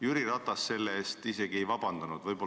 Jüri Ratas isegi ei ole vabandust palunud.